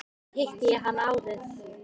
Þar hitti ég hann árið